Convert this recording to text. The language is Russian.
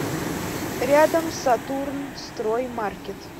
рядом сатурнстроймаркет